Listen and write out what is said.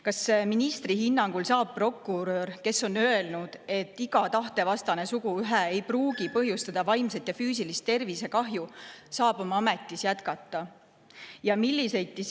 Kas ministri hinnangul saab prokurör, kes on öelnud, et iga tahtevastane suguühe ei pruugi põhjustada vaimset ja füüsilist tervisekahju, oma ametis jätkata?